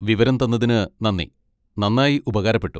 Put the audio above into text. വിവരം തന്നതിന് നന്ദി, നന്നായി ഉപകാരപ്പെട്ടു.